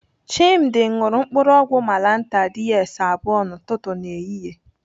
Chimdi ṅụrụ mkpụrụ ọgwụ malantar DS abụọ n'ụtụtụ na ehihie.